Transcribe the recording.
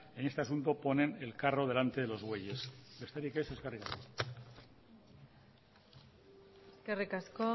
en este asunto ponen el carro delante de los bueyes besterik ez eskerrik asko eskerrik asko